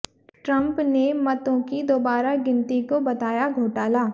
Trump ने मतों की दोबारा गिनती को बताया घोटाला